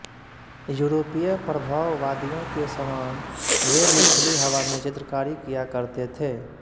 यूरोपीय प्रभाववादियों के समान वे भी खुली हवा में चित्रकारी किया करते थे